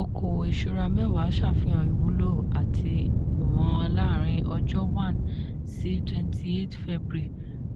okòwò ìṣúra mẹ́wàà ṣàfihàn ìwúlò àti ìwọ̀n láàrín ọjọ́ one sí twenty eight febuary